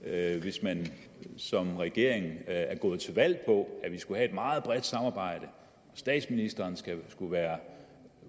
andet hvis man som regering er gået til valg på at vi skulle have et meget bredt samarbejde og at statsministeren skulle være